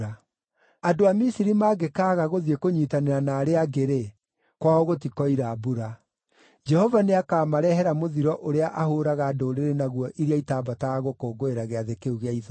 Andũ a Misiri mangĩkaaga gũthiĩ kũnyiitanĩra na arĩa angĩ-rĩ, kwao gũtikoira mbura. Jehova nĩakamarehera mũthiro ũrĩa ahũũraga ndũrĩrĩ naguo iria itaambataga gũkũngũĩra Gĩathĩ kĩu gĩa Ithũnũ.